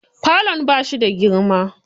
Falon bashi da girma.